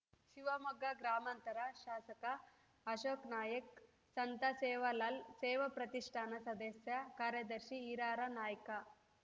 ಶಿವಮೊಗ್ಗ ಗ್ರಾಮಾಂತರ ಶಾಸಕ ಅಶೋಕ್‌ನಾಯ್ಕ್ ಸಂತ ಸೇವಾಲಾಲ್‌ ಸೇವಾ ಪ್ರತಿಷ್ಠಾನ ಸದಸ್ಯ ಕಾರ್ಯದರ್ಶಿ ಹೀರಾರ‍ನಾಯ್ಕ